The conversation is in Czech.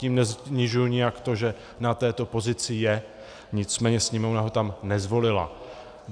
Tím nesnižuji nijak to, že na této pozici je, nicméně Sněmovna ho tam nezvolila.